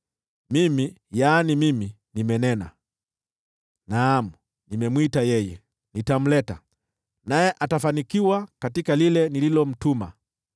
Mimi, naam, Mimi, nimenena; naam, nimemwita yeye. Nitamleta, naye atafanikiwa katika lile nililomtuma.